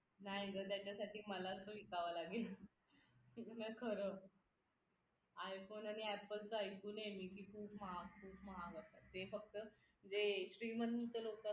नाही ग त्याच्यासाठी मला तो विकावा लागेल नाय खरं i फोन आणि apple च ऐकून ए मी की खूप महाग खूप महाग असतात ते फक्त जे श्रीमंत लोक